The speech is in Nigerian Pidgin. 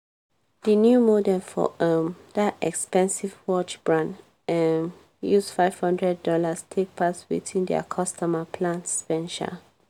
di new model for um dat expensive watch brand um use five hundred dollars take pass watin dia customers plan spend um